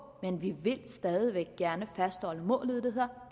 men vi vil stadig væk gerne fastholde målet der